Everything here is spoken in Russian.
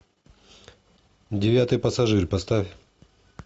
девятый пассажир поставь